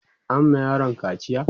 an ma yaron kaciya?